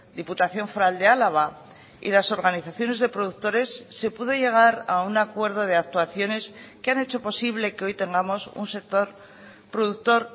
diputación foral de álava y las organizaciones de productores se pudo llegar a un acuerdo de actuaciones que han hecho posible que hoy tengamos un sector productor